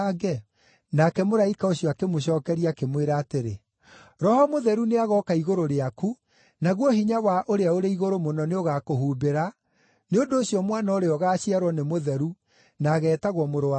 Nake mũraika ũcio akĩmũcookeria, akĩmwĩra atĩrĩ, “Roho Mũtheru nĩagooka igũrũ rĩaku naguo hinya wa Ũrĩa-ũrĩ-Igũrũ-Mũno nĩũgakũhumbĩra, nĩ ũndũ ũcio mwana ũrĩa ũgaaciarwo nĩ mũtheru na ageetagwo Mũrũ wa Ngai.